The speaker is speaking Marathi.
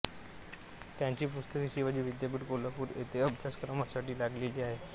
त्यांची पुस्तके शिवाजी विद्यापीठ कोल्हापूर येथे अभ्यासक्रमासाठी लागलेली होती